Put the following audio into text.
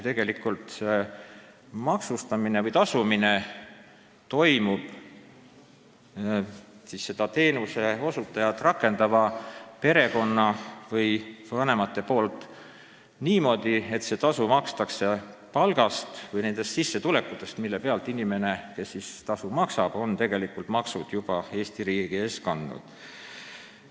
Tegelikult on selle maksustamisega niimoodi, et perekond või vanemad maksavad teenuseosutajale tasu oma palgast või nendest sissetulekutest, mille pealt on Eesti riik juba maksud kätte saanud.